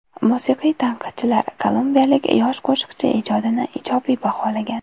Musiqiy tanqidchilar kolumbiyalik yosh qo‘shiqchi ijodini ijobiy baholagan.